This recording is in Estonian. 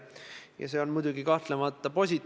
Ja see on tõesti väga tore.